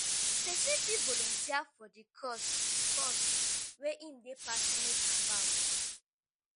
pesin fit volunteer for di cause cause wey im dey passionate about.